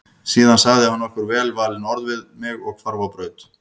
Síðan sagði hann nokkur velvalin orð við mig og hvarf á braut.